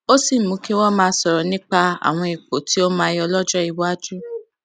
ó sì mú kí wọn máa sọrọ nípa àwọn ipò tí ó máa yọ lọjọ iwájú